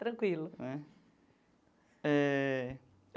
Tranquilo. É eh.